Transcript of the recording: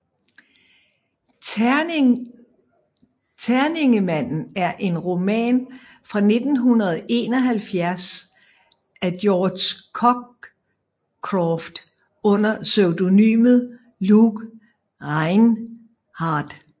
Terningemanden er en roman fra 1971 af George Cockcroft under pseudonymet Luke Rhinehart